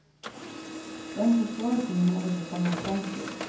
Den forståelsen hadde vi kommet frem til.